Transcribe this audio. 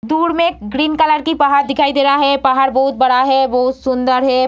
दूर में एक ग्रीन कलर की एक पहाड़ दिखाई दे रहा है पहाड़ बहुत बड़ा है बहुत सुंदर है।